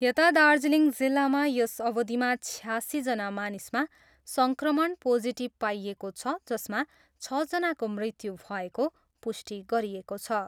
यता दार्जिलिङ जिल्लामा यस अवधिमा छयासीजना मानिसमा सङ्क्रमण पोजिटिभ पाइएको छ जसमा छजनाको मृत्यु भएको पुष्टि गरिएको छ।